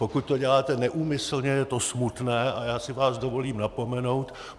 Pokud to děláte neúmyslně, je to smutné a já si vás dovolím napomenout.